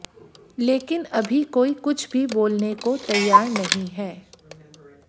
लेकिन अभी कोई कुछ भी बोलने को तैयार नहीं है